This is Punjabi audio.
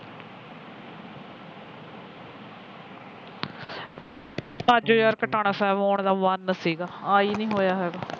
ਅੱਜ ਯਾਰ ਕਟਾਉਣਾ ਸਾਹਿਬ ਆਉਣ ਦਾ ਪ੍ਰਬੰਧ ਸੀ ਗਾ ਆਈ ਨਹੀ ਹੋਇਆ ਹੈਗਾ